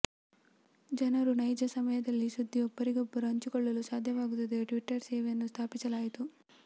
ಜನರು ನೈಜ ಸಮಯದಲ್ಲಿ ಸುದ್ದಿ ಒಬ್ಬರಿಗೊಬ್ಬರು ಹಂಚಿಕೊಳ್ಳಲು ಸಾಧ್ಯವಾಗುತ್ತದೆ ಟ್ವಿಟರ್ ಸೇವೆಯನ್ನು ಸ್ಥಾಪಿಸಲಾಯಿತು